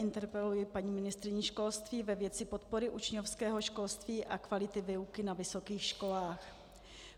Interpeluji paní ministryni školství ve věci podpory učňovského školství a kvality výuky na vysokých školách.